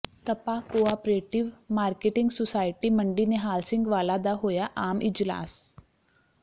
ਤਪਾ cooperative marketing society ਮੰਡੀ ਨਿਹਾਲ ਸਿੰਘ ਵਾਲਾ ਦਾ ਹੋਇਆ ਆਮ ਇਜਲਾਸ